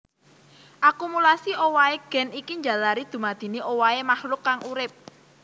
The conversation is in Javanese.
Akumulasi owahé gen iki njalari dumadine owahé makhluk kang urip